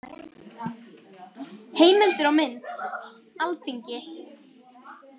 Heimildir og mynd: Alþingi.